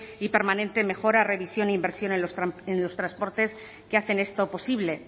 y permanente mejora revisión e inversión en los transportes que hacen esto posible